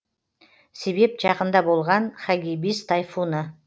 себеп жақында болған хагибис тайфуны